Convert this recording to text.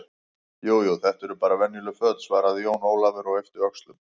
Jú, jú, þetta eru bara venjuleg föt, svaraði Jón Ólafur og yppti öxlum.